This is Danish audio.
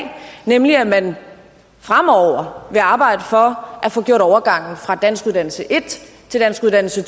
nemlig at man fremover vil arbejde for at få gjort overgangen fra danskuddannelse en til danskuddannelse